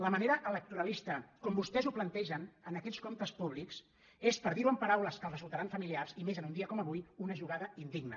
la manera electoralista com vostès ho plantegen en aquests comptes públics és per dir·ho en paraules que els resultaran familiars i més en un dia com avui una jugada indigna